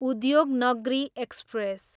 Udyognagri express